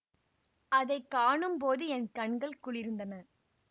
அதை காணும்போது என் கண்கள் குளிர்ந்தன